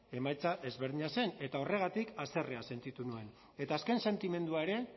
emaitza ezberdina zen eta horregatik haserrea sentitu nuen eta azken sentimendua ere